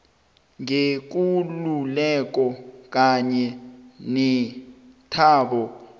ngekululeko kanye nethabo